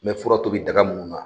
N mɛ fura tobi daga munnu na